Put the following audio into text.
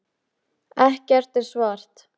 Ekkert er svart.